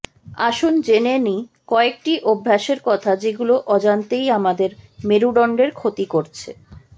আসুন জেনে নেই কয়েকটি অভ্যাসের কথা যেগুলো অজান্তেই আমাদের মেরুদণ্ডের ক্ষতি করছে